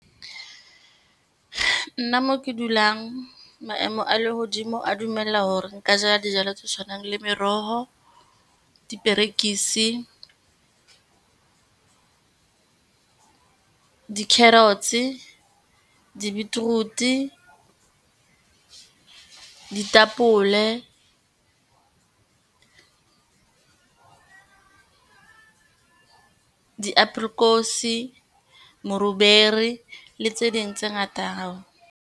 Nna mo ke dulang, maemo a lehodimo a dumella hore nka jala dijalo tse tshwanang le meroho, diperekisi, di-carrots, di-beetroot, ditapole, diapolekosi, moruberi le tse ding tse ngata.